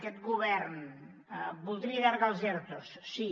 aquest govern voldria allargar els ertos sí